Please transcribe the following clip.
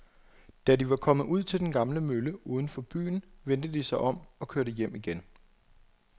Da de var kommet ud til den gamle mølle uden for byen, vendte de om og kørte hjem igen.